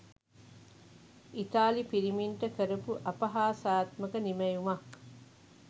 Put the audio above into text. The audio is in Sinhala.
ඉතාලි පිරිමින්ට කරපු අපහාසාත්මක නිමැයුමක්